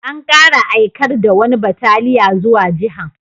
An kara aikar da wani bataliya zuwa Jihan.